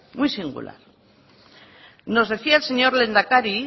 muy singular nos decía el señor lehendakari